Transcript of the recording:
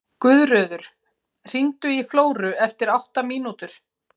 Guðröður, hringdu í Flóru eftir átta mínútur.